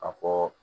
A fɔ